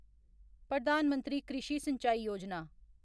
Pradhan Mantri Krishi Sinchai Yojana